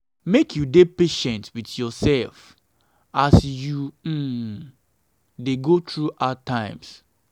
make you dey patient wit yoursef as you um dey go through hard times.